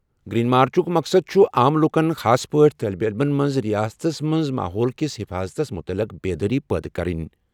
Green مارچُک مقصد چھُ عام لوٗکَن، خاص پٲٹھۍ طالبہِ علِمَن منٛز ریاست کِس ماحولٕچ حِفاظتَس مُتعلِق بیدٲری پٲدٕ کرٕنۍ۔